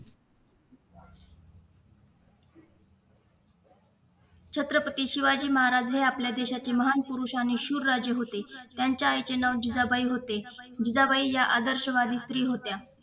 छत्रपती शिवाजी महाराज हे आपल्या देशाचे महान पुरुष आणि शूर राजे होते त्यांच्या आईचे नाव जिजाबाई होते जिजाबाई ह्या आदर्शवादी स्त्री होत्या